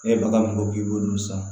E ye bagan mun ko k'i b'olu san